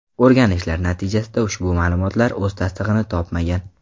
O‘rganishlar natijasida ushbu ma’lumotlar o‘z tasdig‘ini topmagan.